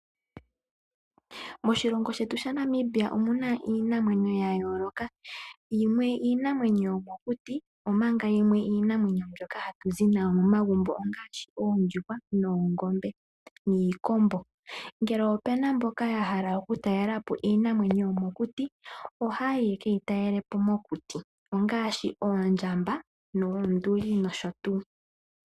Moshilongo shetu sha Namibia omuna iinamwenyo ya yooloka, yimwe iinamwenyo yomokuti, omanga yimwe iinamwenyo mbyoka hatu zi nayo momagumbo ongaashi oondjuhwa noongombe niikombo. Ngele opena mboka ya hala okutalela po iinamwenyo yomokuti ohaayi yeke yi talele po mokuti ongaashi oondjamba noonduli nosho tuu.